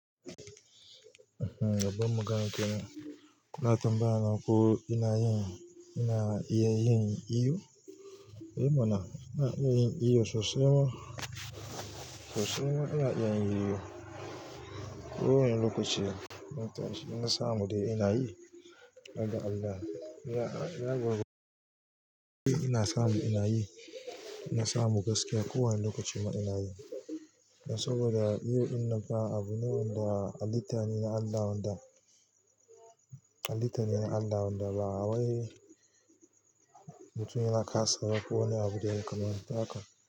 Ehh, babban magana kenan, kuna tambaya na ko ina yin, ina iya yin iyo? Ehmana, ina iya yin iyo sosai ma, sosai ma ina iya yin iyo. Ko wane lokaci, na samu dai ina yi. Don Allah, ya girmace ina samu ina yi, ina samu gaskiya ko wane lokaci man ina yi. Saboda yau inna fa abu ne wanda halitta ne na Allah wanda, halitta ne na Allah wanda ba waye mutumin na kasa ba. Ko wane abu da yakamatu haka.